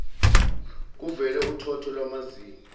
kuvele uthotho lwamazinyo